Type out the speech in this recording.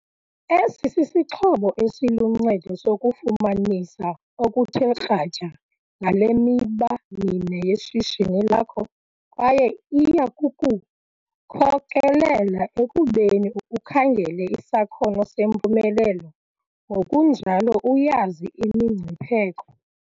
Esi sisixhobo esiluncedo sokufumanisa okuthe kratya ngale miba mine yeshishini lakho kwaye iya kukukhokelela ekubeni ukhangele isakhono sempumelelo ngokunjalo uyazi imingcipheko.